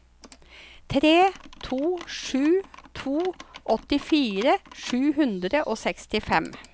tre to sju to åttifire sju hundre og sekstifem